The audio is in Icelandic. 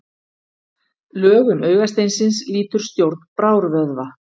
Lögun augasteinsins lýtur stjórn brárvöðva.